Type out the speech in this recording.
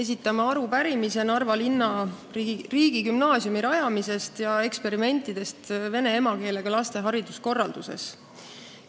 Esitame arupärimise Narva linna riigigümnaasiumi rajamise kohta ja eksperimentide kohta vene emakeelega laste hariduse korralduses.